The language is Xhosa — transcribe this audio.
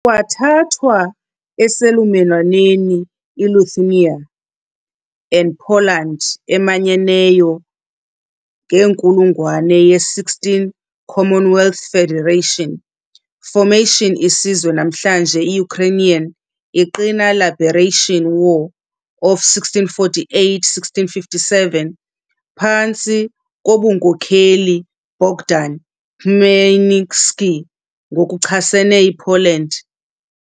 kwathathwa eselumelwaneni Lithuania and Poland emanyeneyo ngenkulungwane ye-16 Commonwealth Federation. Formation isizwe namhlanje Ukrainian iqina Liberation War of 1648-1657 phantsi kobunkokheli Bogdan Khmelnitsky ngokuchasene Poland.